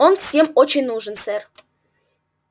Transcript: он всем очень нужен сэр